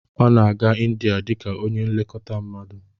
Ọ na-aga India dị ka onye nlekọta mmadu